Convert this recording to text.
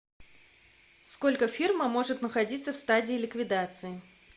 сколько фирма может находиться в стадии ликвидации